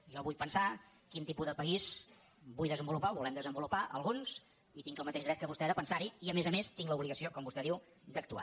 jo vull pensar quin tipus de país vull desenvolupar o volem desenvolupar alguns i tinc el mateix dret que vostè de pensar hi i a més a més tinc l’obligació com vostè diu d’actuar